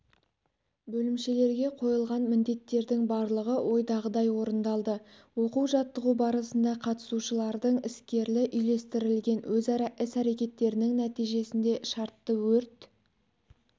бөлімшелерге қойылған міндеттердің барлығы ойдағыдай орындалды оқу-жаттығу барысында қатысушылардың іскерлі үйлестірілген өзара іс-әрекеттерінің нәтижесінде шартты өрт